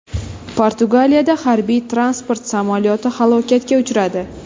Portugaliyada harbiy-transport samolyoti halokatga uchradi.